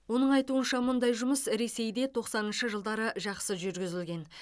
оның айтуынша мұндай жұмыс ресейде тоқсаныншы жылдары жақсы жүргізілген